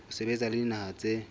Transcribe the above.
ho sebetsa le dinaha tse